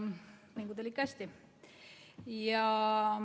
Mingu teil kõik hästi!